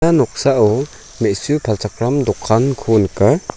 ia noksao me·su palchakram dokanko nika.